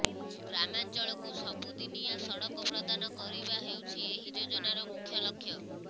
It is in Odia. ଗ୍ରାମାଞ୍ଚଳକୁ ସବୁ ଦିନିଆ ସଡ଼କ ପ୍ରଦାନ କରିବା ହେଉଛି ଏହି ଯୋଜନାର ମୁଖ୍ୟ ଲକ୍ଷ୍ୟ